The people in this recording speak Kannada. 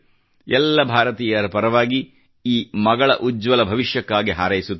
ಎಲ್ಲ ಭಾರತೀಯರ ಪರವಾಗಿ ಮಗಳ ಉಜ್ವಲ ಭವಿಷ್ಯಕ್ಕಾಗಿ ಹಾರೈಸುತ್ತೇನೆ